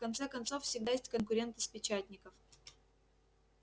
в конце концов всегда есть конкуренты с печатников